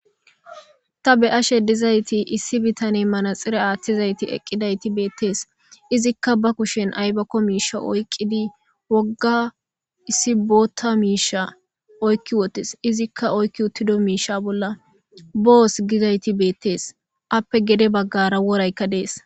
Ta be'ashe dizayssi issi bitaney manaxire aaththiday eqqidayssi beettes. Izikka ba kushen ayibakko miishsha oyiqqidi wogga issi bootta miishsha oykki wottis. Izikka oykki uttido miishsha bolla booss gizayssi beettes. Appe gede baggara woraykka dees.